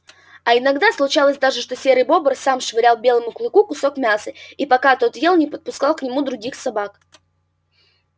а иногда случалось даже что серый бобр сам швырял белому клыку кусок мяса и пока тот ел не подпускал к нему других собак